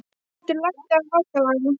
Þrútur, lækkaðu í hátalaranum.